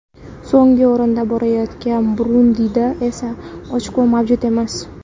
So‘nggi o‘rinda borayotgan Burundida esa ochko mavjud emas.